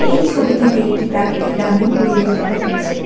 এই ছবিটির একটি প্রাকৃতিক গ্রামীণ পরিবেশ দেখা যাচ্ছে।